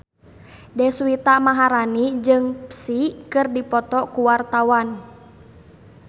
Deswita Maharani jeung Psy keur dipoto ku wartawan